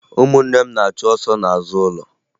Ụmụnne m na-achụ ọsọ n'azụ ụlọ